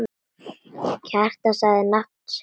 Kjartan sagði nafn sitt.